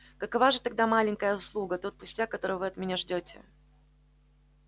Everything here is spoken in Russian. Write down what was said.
какова же тогда маленькая услуга тот пустяк которого вы от меня ждёте